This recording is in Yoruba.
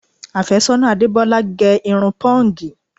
Àfẹ́sọ́nà Adebola gè irun pọ́ǹgì